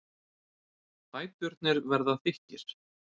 Fæturnir verða þykkir.